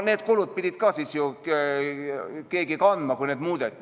Need kulutused pidi ka ju keegi kandma, kui neid nimesid muudeti.